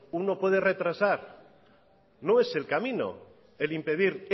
uno puede retrasar no es el camino el impedir